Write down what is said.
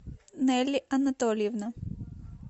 нелли анатольевна